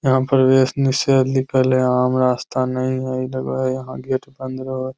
यहाँ प्रवेश निषेध लिखल है आम रास्ता नहीं है ई लगो हय यहाँ गेट बंद रहोय।